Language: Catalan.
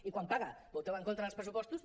i quan paga voteu en contra dels pressupostos